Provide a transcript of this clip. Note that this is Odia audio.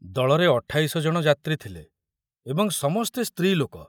ଦଳରେ ଅଠାଇଶ ଜଣ ଯାତ୍ରୀ ଥିଲେ ଏବଂ ସମସ୍ତେ ସ୍ତ୍ରୀଲୋକ।